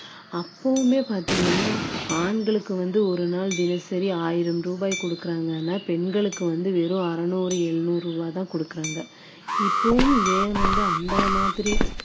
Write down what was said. உம் கொடுக்குறாங்க கலவை கலக்குறது உம் மாடி ஒன்னோ ரெண்டோ மேல மாடியெல்லாம் ஏறி கொண்டு போயி கொடுக்குறாங்க